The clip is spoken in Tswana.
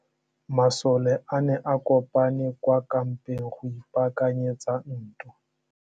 Masole a ne a kopane kwa kampeng go ipaakanyetsa ntwa.